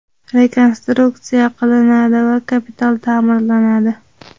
rekonstruksiya qilinadi va kapital taʼmirlanadi.